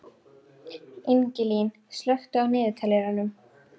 Ingilín, slökktu á niðurteljaranum.